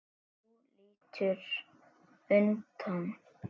Þú lítur undan.